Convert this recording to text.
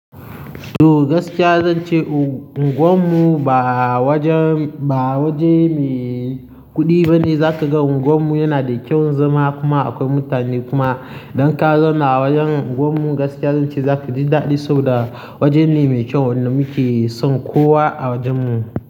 Toh gaskiya zan ce unguwar mu ba wajen, ba waje mai kudi bane. Zaka ga unguwar mu yana da kyau zama kuma akwai mutane kuma. Don ka zauna a wajen unguwar mu gaskiya zan ce zaka ji daɗi saboda waje ne mai kyau wanda muke son kowa a wajen mu.